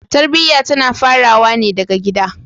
Tarbiya tana farawa ne daga gida.